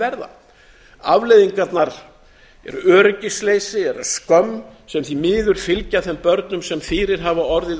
verða afleiðingarnar eru öryggisleysi eða skömm sem því miður fylgja þeim börnum sem fyrir hafa orðið